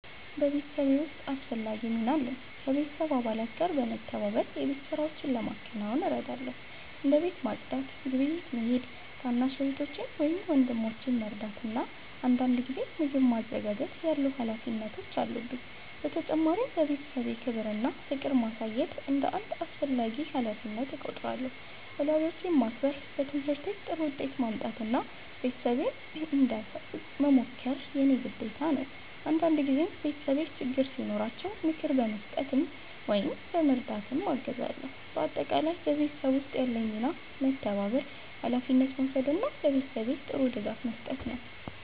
በቤተሰቤ ውስጥ አስፈላጊ ሚና አለኝ። ከቤተሰብ አባላት ጋር በመተባበር የቤት ሥራዎችን ለማከናወን እረዳለሁ። እንደ ቤት ማጽዳት፣ ግብይት መሄድ፣ ታናሽ እህቶቼን ወይም ወንድሞቼን መርዳት እና አንዳንድ ጊዜ ምግብ ማዘጋጀት ያሉ ሀላፊነቶች አሉብኝ። በተጨማሪም ለቤተሰቤ ክብር እና ፍቅር ማሳየት እንደ አንድ አስፈላጊ ሀላፊነት እቆጥራለሁ። ወላጆቼን ማክበር፣ በትምህርቴ ጥሩ ውጤት ማምጣት እና ቤተሰቤን እንዳሳብቅ መሞከር የእኔ ግዴታ ነው። አንዳንድ ጊዜም ቤተሰቤ ችግር ሲኖራቸው ምክር በመስጠት ወይም በመርዳት አግዛለሁ። በአጠቃላይ በቤተሰብ ውስጥ ያለኝ ሚና መተባበር፣ ሀላፊነት መውሰድ እና ለቤተሰቤ ጥሩ ድጋፍ መስጠት ነው።